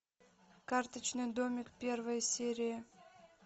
карточный домик первая серия